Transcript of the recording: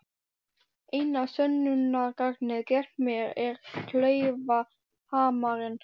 Eina sönnunargagnið gegn mér er klaufhamarinn.